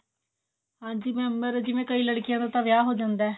ਹਾਂਜੀ mam ਮਤਲਬ ਜਿਵੇਂ ਕਈ ਲੜਕੀਆਂ ਦਾ ਤਾਂ ਵਿਆਹ ਹੋ ਜਾਂਦਾ